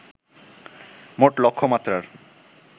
মোট লক্ষ্যমাত্রার